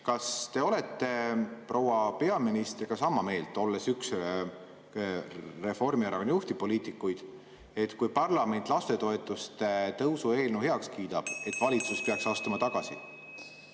Kas te olete proua peaministriga sama meelt, olles üks Reformierakonna juhtivpoliitikuid, et kui parlament lastetoetuste tõusu eelnõu heaks kiidab, peaks valitsus astuma tagasi?